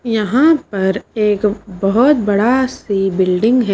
यहां पर एक बहुत बड़ा सी बिल्डिंग है।